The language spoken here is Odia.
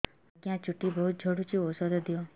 ଆଜ୍ଞା ଚୁଟି ବହୁତ୍ ଝଡୁଚି ଔଷଧ ଦିଅ